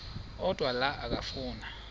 odwa la okafuna